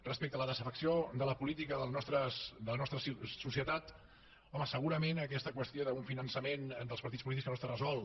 respecte a la desafecció per la política de la nostra societat home aquesta qüestió d’un finançament dels partits polítics que no està resolt